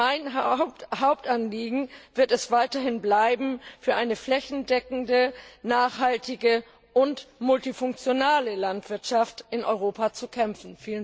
Mein Hauptanliegen wird es weiterhin bleiben, für eine flächendeckende, nachhaltige und multifunktionale Landwirtschaft in Europa zu kämpfen.